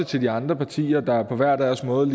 til de andre partier der på hver deres måde